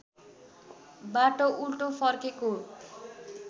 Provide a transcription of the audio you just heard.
बाटो उल्टो फर्केको